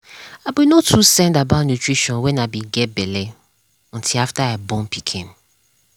i be no too send about nutrition when i i be get belle until after i born pikin.